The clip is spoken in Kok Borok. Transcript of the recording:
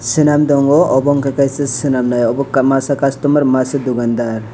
senam tongo obo unkha snmailaio omo masa customer masa dukandar.